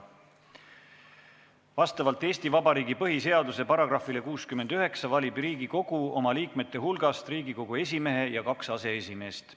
Vastavalt Eesti Vabariigi põhiseaduse §-le 69 valib Riigikogu oma liikmete hulgast Riigikogu esimehe ja kaks aseesimeest.